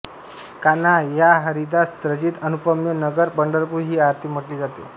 कान्ह्या हरिदास रचित अनुपम्य नगर पंढरपूर ही आरती म्हटली जाते